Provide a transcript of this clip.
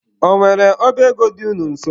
Ọ nwere ọba ego dị unu nso?